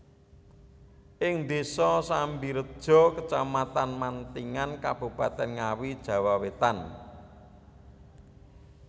Ing Désa Sambirejo Kecamatan Mantingan Kabupatèn Ngawi Jawa Wétan